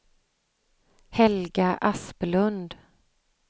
Helga Asplund